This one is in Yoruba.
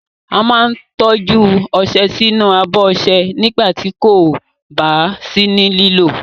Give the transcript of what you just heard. A máa ń tọ́jú ọṣẹ sínú abọ́ ọṣẹ nígbà tí kò bá sí ní lílò.